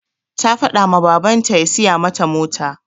Ta faɗa ma babanta ya siya mata mota.